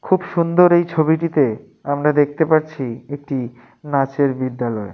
খুব সুন্দর এই ছবিটিতেআমরা দেখতে পাচ্ছি একটি নাচের বিদ্যালয়।